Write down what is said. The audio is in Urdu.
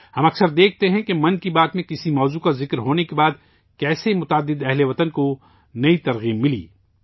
ہم اکثر دیکھتے ہیں کہ 'من کی بات' میں کسی موضوع کا ذکر ہونےکے بعد کس طرح متعدد ہم وطنوں کو نئی تحریک ملی